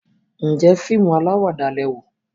njé fíìmù alawada lẹ wò?